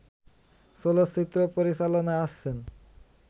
চলচ্চিত্র পরিচালনায় আসছেন